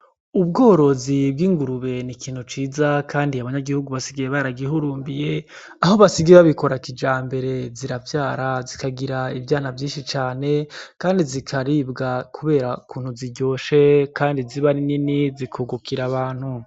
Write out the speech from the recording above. Ubworozi bw'ingurube n'ikintu ciza kandi abanyagihugu basigaye baragihurumbiye aho basigaye babikora kijambere ziravyara zikagira ivyana vyishi cane kandi zikaribwa kubera ukuntu ziryoshe kandi ziba nini zikungukira abantu.